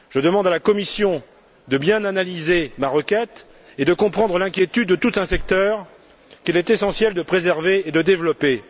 Je demande aussi à la Commission de bien analyser ma requête et de comprendre l'inquiétude de tout un secteur, qu'il est essentiel de préserver et de développer.